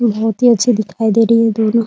बहुत ही अच्छी दिखाई दे रही है दोनों ।